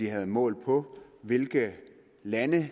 havde målt på hvilke lande